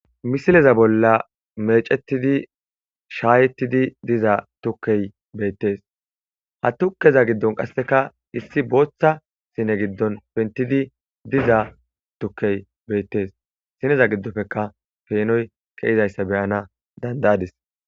misileza bolla mecettidi shaayetidi diza tukkey beettees ha tukkeza giddon qasseka issi booththa sine giddon pentidi diza tukkey beettes sineza giddofeka peenoy keizayssa beyana dandayadis